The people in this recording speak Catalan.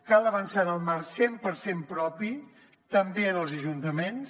cal avançar en el marc cent per cent propi també en els ajuntaments